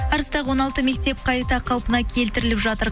арыстағы он алты мектеп қайта қалпына келтіріліп жатыр